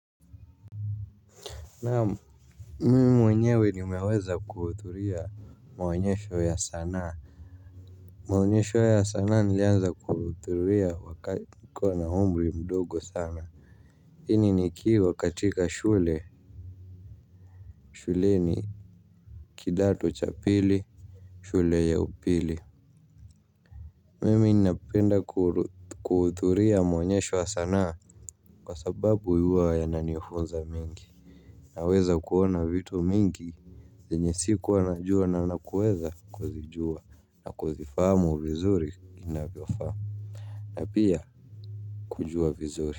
Naam. Mimi mwenyewe nimeweza kuhuthuria maonyesho ya sanaa. Maonyesho ya sanaa nilianza kuhuthuria wakati nikuwa na umri mdogo sana. Hii ni nikiwa katika shule, shuleni kidato cha pili, shule ya upili. Mimi ninapenda kuhuthuria maonyesho ya sanaa. Kwa sababu huwa yananifunza mengi. Naweza kuona vitu mingi zenye sikua najua na kuweza kuzijua na kuzifahamu vizuri inavyofaa na pia kujua vizuri.